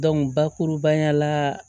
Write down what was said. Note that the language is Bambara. bakurubaya la